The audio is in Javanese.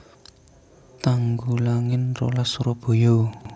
Tanggulangin rolas Surabaya